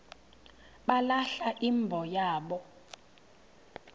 balahla imbo yabo